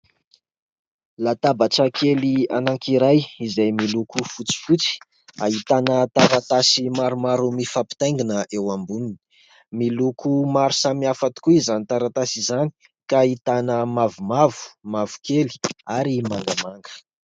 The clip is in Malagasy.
Latabatra kely anankiray, izay miloko fotsifotsy. Ahitana taratasy maromaro mifampitaingina eo amboniny ; miloko maro samy hafa tokoa izany taratasy izany ; ka ahitana : mavomavo, mavokely, ary mangamanga.